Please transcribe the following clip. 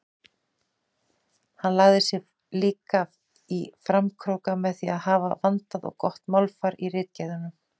Hann lagði sig líka í framkróka með að hafa vandað og gott málfar í ritgerðunum.